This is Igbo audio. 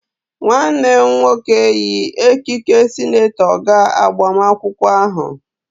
Nwanne m nwoke yi ekike senetọ gaa agbamakwụkwọ ahụ.